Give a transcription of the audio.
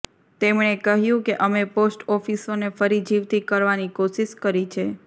તેમણે કહ્યું કે અમે પોસ્ટ ઓફિસોને ફરી જીવતી કરવાની કોશિશ કરી છે